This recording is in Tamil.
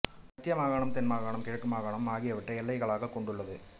மத்திய மாகாணம் தென் மாகாணம் கிழக்கு மாகாணம் ஆகியவற்றை எல்லைகளாகக் கொண்டுள்ளது